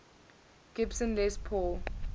gibson les paul